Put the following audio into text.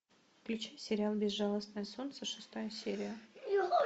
включи сериал безжалостное солнце шестая серия